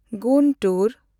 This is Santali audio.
ᱜᱩᱱᱴᱩᱨ